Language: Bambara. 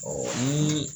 Ɔ ni